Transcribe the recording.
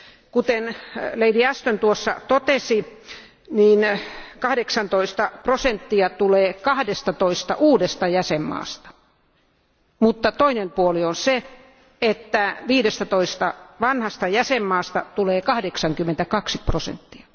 Kuten lady Ashton totesi, 18 prosenttia tulee 12 uudesta jäsenvaltiosta, mutta toinen puoli on se, että 15 vanhasta jäsenvaltiosta tulee 82 prosenttia.